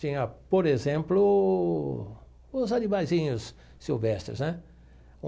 Tinha, por exemplo, os animalzinhos silvestres né.